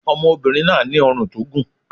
Ọmọbìnrin náà ní ọrùn tó gùn.